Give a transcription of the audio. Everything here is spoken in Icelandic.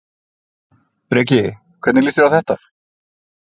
Breki: Hvernig líst þér á þetta?